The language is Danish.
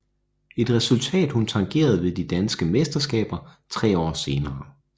Et resultat hun tangerede ved de danske mesterskaber tre år senere